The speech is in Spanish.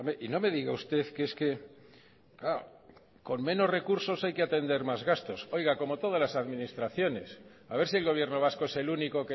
y no me diga usted que es que con menos recursos hay que atender más gastos oiga como todas las administraciones a ver si el gobierno vasco es el único